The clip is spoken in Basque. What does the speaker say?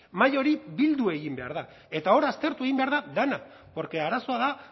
mahai hori bildu egin behar da eta hor aztertu egin behar dena porque arazoa da